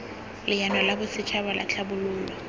leano la bosetšhaba la tlhabololo